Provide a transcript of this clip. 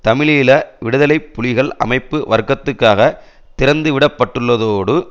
தமிழீழ விடுதலை புலிகள் அமைப்பு வர்த்தகத்துக்காக திறந்து விட பட்டுள்ளதோடு